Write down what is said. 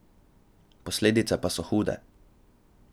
Posledice pa so hude.